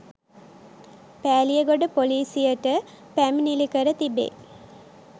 පෑලියගොඩ ‍පොලීසියට පැමිණිලි කර තිබේ.